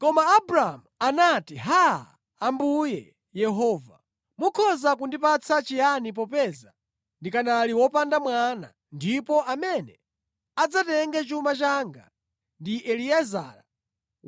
Koma Abramu anati, “Haa! Ambuye Yehova, mukhoza kundipatsa chiyani popeza ndikanali wopanda mwana ndipo amene adzatenge chuma changa ndi Eliezara